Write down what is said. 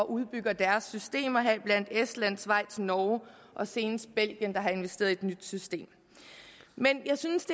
udbygger deres system heriblandt er estland schweiz norge og senest belgien der har investeret i et nyt system men jeg synes